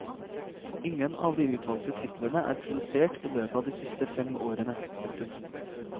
Ingen av de utvalgte titlene er produsert i løpet av de siste fem årene. punktum